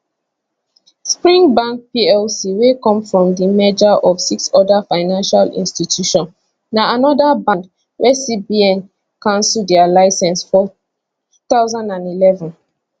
spring bank plc wey come from di merger of six oda financial institutions na anoda band wey cbn cancel dia licence for 2011